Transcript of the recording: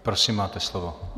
Prosím, máte slovo.